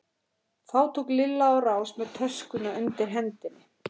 Þá tók Lilla á rás með töskuna undir hendinni.